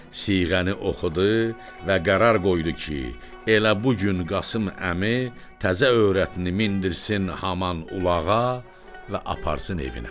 Siğəni oxudu və qərar qoydu ki, elə bu gün Qasım əmi təzə öyrətnı mindirsin haman ulağa və aparsın evinə.